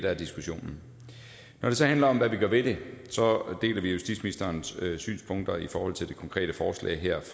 er diskussionen når det så handler om hvad vi gør ved det så deler vi justitsministerens synspunkter i forhold til det konkrete forslag her